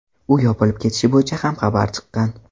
U yopilib ketishi bo‘yicha ham xabarlar chiqqan.